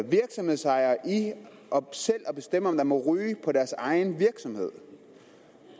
virksomhedsejere i selv at bestemme om man må ryge på deres egen virksomhed